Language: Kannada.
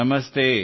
ನಮಸ್ತೇ